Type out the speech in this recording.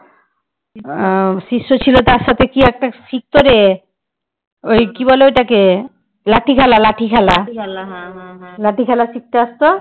লাঠি খেলা শিখতে আসত